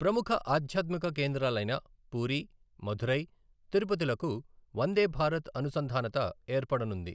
ప్రముఖ ఆథ్యాత్మిక కేంద్రాలైన పూరి, మధురై, తిరుపతిలకు వందే భారత్ అనుంసధానత ఏర్పడనుంది.